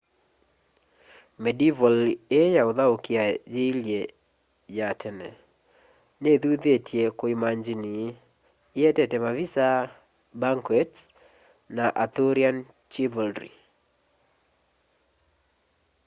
medieval ii ya uthaukia yiilye ya tene nithuthitye kuimangini ietete mavisa banquets na arthurian chivalry